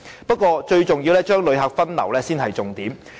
不過，最重要是將旅客分流，這是重點所在。